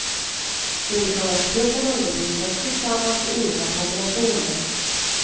Olika årskurser undervisas tillsammans i olika kombinationer.